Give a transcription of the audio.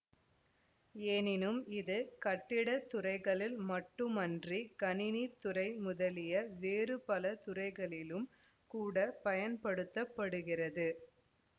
எனினும் இது கட்டிட துறைகளில் மட்டுமன்றி கணினித் துறை முதலிய வேறு பல துறைகளிலும் கூட பயன்படுத்த படுகிறது